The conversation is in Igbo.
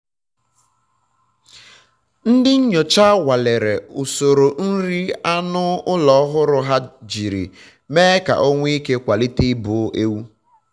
ndị nyocha nwalere um usoro nri anụ um ụlọ ọhụrụ ha ijiri me um ka o nwe ike kwalite ibu ewu